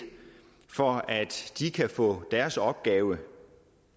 for at de kan få deres opgave